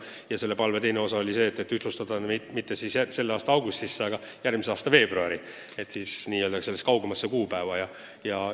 Ja selle palve teine osa oli ettepanek ühtlustada mitte nii, et seadus hakkab kehtima selle aasta 1. augustil, vaid järgmise aasta 1. veebruaril.